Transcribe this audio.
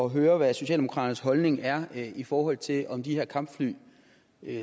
at høre hvad socialdemokraternes holdning er i forhold til om de her kampfly